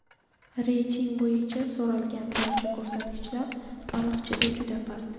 Reyting bo‘yicha so‘ralgan barcha ko‘rsatkichlar Baliqchida juda past.